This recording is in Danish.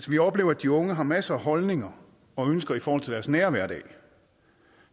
vi oplever at de unge har masser af holdninger og ønsker i forhold til deres nære hverdag